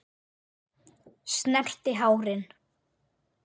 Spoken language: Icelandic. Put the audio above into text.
Snerti hárin.